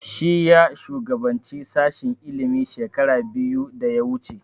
Shi ya shugabance sashen ilimi shekara biyu da ya wuce